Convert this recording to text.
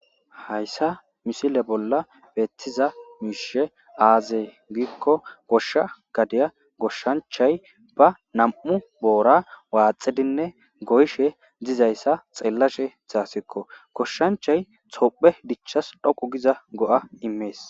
hayssa misile bolla beettiza miishe aazee giikko goshsha gadiya goshshanchay ba nam7u boora waaxidinne goyshe dizayssa xeellashe haasikko goshshanchay tophiye dichchas dhoqu giza go7a immees